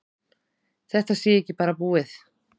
Þetta sé ekki bara búið.